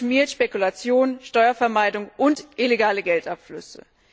So etwas schmiert Spekulation, Steuervermeidung und illegale Geldabflüsse.